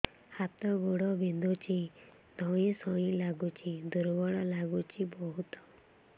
ହାତ ଗୋଡ ବିନ୍ଧୁଛି ଧଇଁସଇଁ ଲାଗୁଚି ଦୁର୍ବଳ ଲାଗୁଚି ବହୁତ